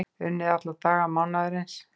Unnið alla daga mánaðarins